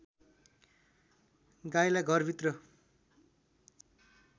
गाईलाई घरभित्र